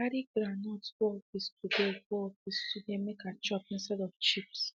i carry groundnut go office today go office today make i chop instead of chips